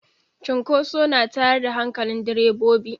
Cinkoso na tayar da hankalin direbobi.